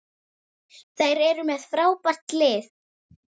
Þeir eru með frábært lið.